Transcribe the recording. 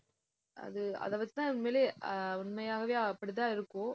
அது, அதை வச்சுதான் உண்மையிலேயே அஹ் உண்மையாவே, அப்படித்தான் இருக்கும்